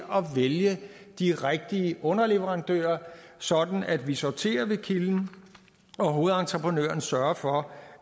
vælge de rigtige underleverandører sådan at vi sorterer ved kilden og hovedentreprenøren sørger for